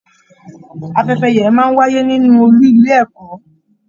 Afẹ́fẹ́ yẹ̀yẹ̀ máa n wáyé nínú ọọlú ilé ẹ̀kọ́.